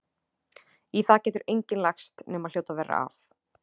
Í það getur enginn lagst nema hljóta verra af.